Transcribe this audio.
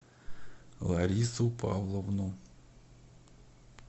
ларису павловну